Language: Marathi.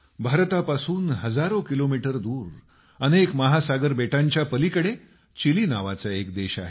भारतापासून हजारो किलोमीटर दूर अनेक महासागरबेटांच्या पलीकडे चिली नावाचा एक देश आहे